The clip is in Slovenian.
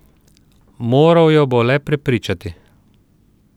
Moral jo bo le prepričati.